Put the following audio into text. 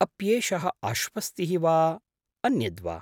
अप्येषः आश्वस्तिः वा अन्यद् वा?